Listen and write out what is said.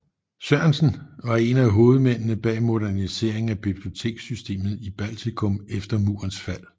Sørensen var en af hovedmændene bag moderniseringen af biblioteksystemet i Baltikum efter murens fald